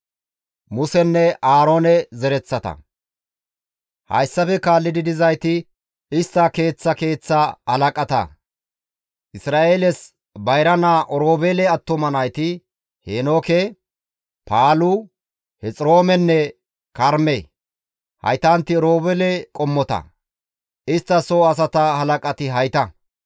Hayssafe kaalli dizayti istta keeththa keeththa halaqata. Isra7eeles bayra naa Oroobeele attuma nayti, Heenooke, Paalu, Hexiroomenne Karme; haytanti Oroobeele qommota. Istta soo asata halaqati hayta.